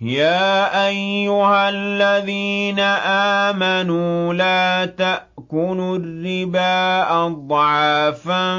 يَا أَيُّهَا الَّذِينَ آمَنُوا لَا تَأْكُلُوا الرِّبَا أَضْعَافًا